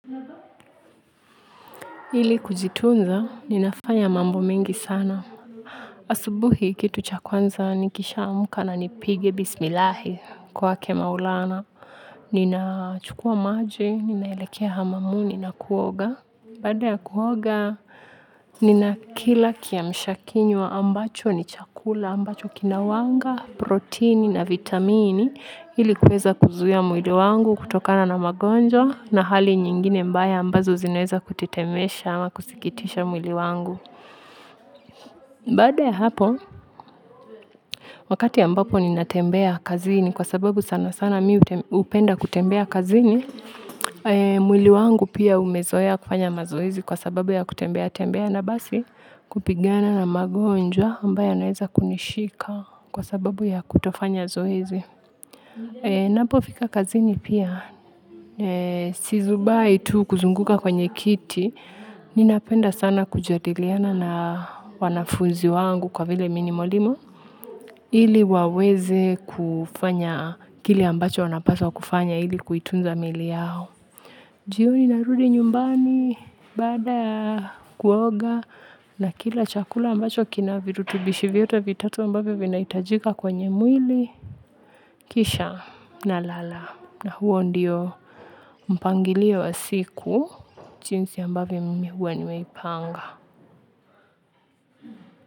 Ili kujitunza, ninafanya mambo mengi sana. Asubuhi kitu cha kwanza nikishaamka na nipige bismillahi kwa kumwomba Mola. Ninachukua maji, ninaelekea hamamuni na kuoga. Baada ya kuoga, nina kila kiamsha kinywa ambacho ni chakula ambacho kina wanga, protini na vitamini, ili kuweza kuzuia mwili wangu kutokana na magonjwa na hali nyingine mbaya ambazo zinaweza kutitemesha ama kusikitisha mwili wangu. Baada ya hapo, wakati ambapo ninatembea kwenda kazini kwa sababu sana sana mimi hupenda kutembea kwenda kazini, mwili wangu pia umezoea kufanya mazoezi kwa sababu ya kutembea tembea na basi kupigana na magonjwa ambayo yanaweza kunishika kwa sababu ya kutofanya zoezi. Napofika kazini pia sizubai tu kuzunguka kwenye kiti ninapenda sana kujadiliana na wanafunzi wangu kwa vile mimi ni mwalimu ili waweze kufanya kile ambacho wanapaswa kufanya ili kuitunza miili yao. Jioni narudi nyumbani, baada ya kuoga na kila chakula ambacho kina virutubishi vyote vitatu ambavyo vinahitajika kwenye mwili kisha nalala. Na huo ndio mpangilio wa siku jinsi ambavyo mimi huwa nimeipanga.